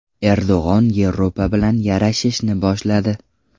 Erdo‘g‘on Yevropa bilan yarashishni boshladi.